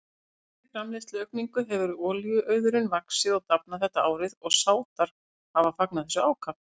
Þökk sé framleiðsluaukningu hefur olíuauðurinn vaxið og dafnað þetta árið og Sádar hafa fagnað þessu ákaft.